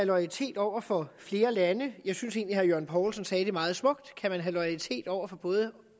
loyalitet over for flere lande jeg synes egentlig herre jørgen poulsen sagde det meget smukt kan man have loyalitet over for både